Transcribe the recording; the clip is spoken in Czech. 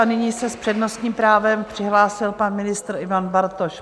A nyní se s přednostním právem přihlásil pan ministr Ivan Bartoš.